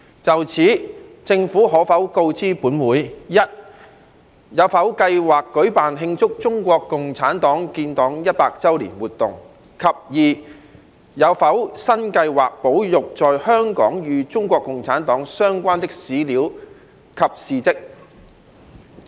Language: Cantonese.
就此，政府可否告知本會：一有否計劃舉辦慶祝中國共產黨建黨一百周年活動；及二有否新計劃保育在香港與中國共產黨相關的史料及事蹟？